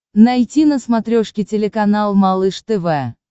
найти на смотрешке телеканал малыш тв